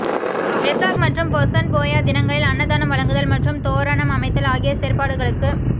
வெசாக் மற்றும் பொசன் போயா தினங்களில் அன்னதானம் வழங்குதல் மற்றும் தோரணம் அமைத்தல் ஆகிய செயற்பாடுகளுக்